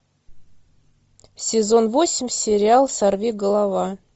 сезон восемь сериал сорвиголова